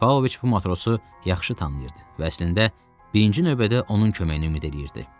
Pavloviç bu matrosu yaxşı tanıyırdı və əslində birinci növbədə onun köməyinə ümid eləyirdi.